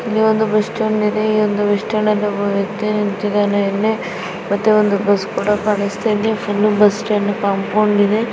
ಇಲ್ಲೊಂದು bus stand ಇದೆ ಈ ಒಂದು ಬಸ್ ಸ್ಟಾಂಡ್ ಅಲ್ಲಿ ಒಬ್ಬ ವ್ಯಕ್ತಿ ನಿಂತಿದ್ದಾನೆ ಇಲ್ಲಿ ಮತ್ತೆ ಒಂದು ಬಸ್ ಕೂಡಾ ಕಾಣಿಸ್ತಾ ಇದೆ ಫುಲ್ ಬಸ್ ಸ್ಟಾಂಡ್ ಕಾಂಪೌಂಡ್ ಇದೆ .